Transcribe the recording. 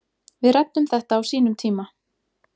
Við ræddum þetta á sínum tíma